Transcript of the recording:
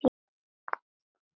Björn og Birkir.